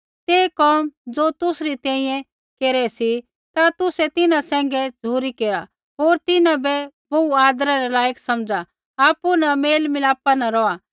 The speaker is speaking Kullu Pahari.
तै कोम ज़ो तुसरी तैंईंयैं केरा सी ता तुसै तिन्हां सैंघै झ़ुरी केरा होर तिन्हां बै बोहू आदरै रै लायक समझ़ा आपु न मेलमिलापा न रौहा